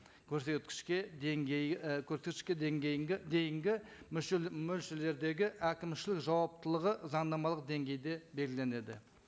көрсеткішке деңгей і көрсеткішке дейінгі мөлшерлердегі әкімшілік жуаптылығы заңнамалық деңгейде белгіленеді